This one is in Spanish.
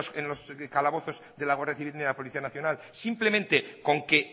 en los calabozos de la guardia civil ni de la policía nacional simplemente con que